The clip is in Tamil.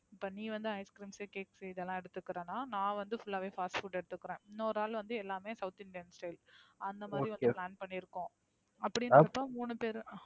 இப்ப நீ வந்து Icecreams cakes உ இதெல்லாம் எடுத்துக்கிறன்னா, நா வந்து Full ஆவே Fastfood எடுத்துக்கிறேன். இன்னொரு ஆல் வந்து எல்லாமே South Indian style. அந்த மாதிரி தான் PlanOkay பண்ணியிருக்கோம். அப்படிங்கிறப்போ மூனு பேரும்